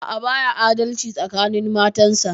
A'a, baya adalci tsakanin matansa.